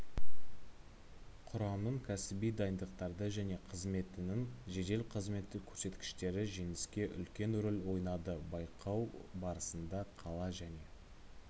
құрамның кәсіби дайындықтары және қызметінің жедел-қызметтік көрсеткіштері жеңіске үлкен рөл ойнады байқау барысында қала және